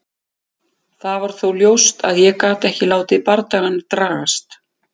Það var þó ljóst að ég gat ekki látið bardagann dragast.